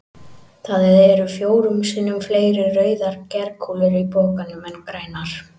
Það eru fjórum sinnum fleiri rauðar glerkúlur í pokanum en grænar.